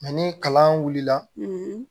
ni kalan wulila